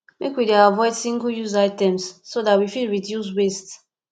make we dey avoid singleuse items so dat we fit reduce waste